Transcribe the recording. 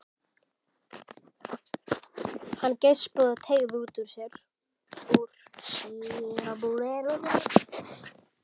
Hann geispaði og teygði úr sér.